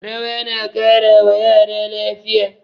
Rawa na ƙara wa yara lafiya